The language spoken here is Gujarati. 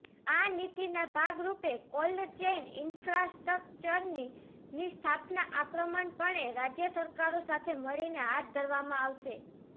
આ નીતિના ભાગરૂપે કોલ્ડ ચેઇન ઇન્ફ્રાસ્ટ્રક્ચરની સ્થાપના આક્રમકપણે રાજ્ય સરકારો સાથે મળીને હાથ ધરવામાં આવશે